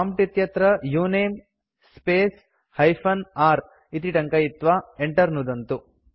prompt इत्यत्र उनमे space hyphen r इति टङ्कयित्वा enter नुदन्तु